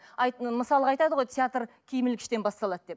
мысалға айтады ғой театр киім ілгіштен басталады деп иә